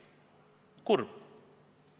Kurb!